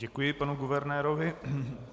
Děkuji panu guvernérovi.